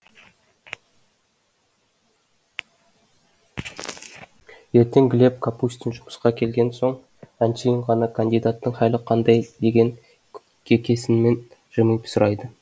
ертең глеб капустин жұмысқа келген соң әншейін ғана кандидаттың хәлі қандай деген кекесінмен жымиып сұрайды